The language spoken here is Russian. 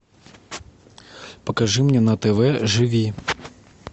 покажи мне на тв живи